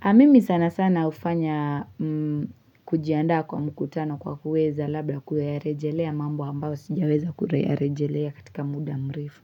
Amimi sana sana ufanya kujiandaa kwa mkutano kwa kuweza labda kuyarejelea mambo ambayo sijaweza kuyarejelea katika muda mrefu.